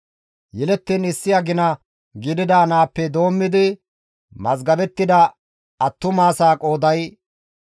Yelettiin issi agina gidida naappe doommidi mazgabettida attumasaa qooday 7,500.